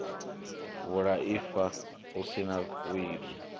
vhulaifa hu si na wili